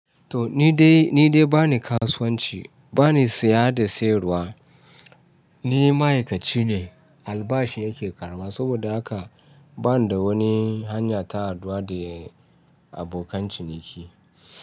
To ni dai, ni dai bani kasuwanci, bani siya da sayarwa. Ni ma'aikaci ne, albashi nake karɓa. Saboda haka ba ni da wani hanya ta haɗuwa da abokan ciniki.